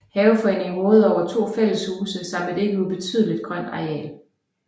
Haveforeningen råder over to fælleshuse samt et ikke ubetydeligt grønt areal